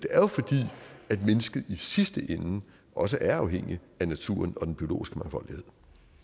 er jo fordi mennesket i sidste ende også er afhængigt af naturen og den biologiske mangfoldighed